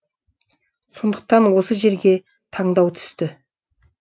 сондықтан осы жерге таңдау түсті